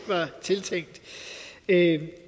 af